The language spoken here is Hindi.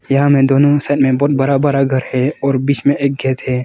यहां मैं दोनों साइड में बहोत बरा बरा घर है और बीच में एक गेट है।